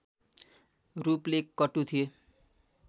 रूपले कटु थिए